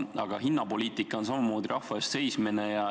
Aga hinnapoliitika on samamoodi rahva eest seismine.